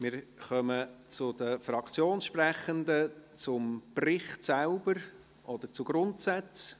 Wir kommen zu den Fraktionssprechenden zum Bericht oder zu Grundsätzen.